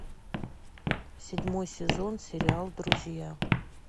седьмой сезон сериал друзья